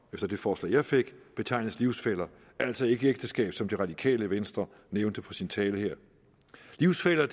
efter det forslag jeg fik betegnes livsfæller altså ikke ægteskab som det radikale venstre nævnte i sin tale her livsfæller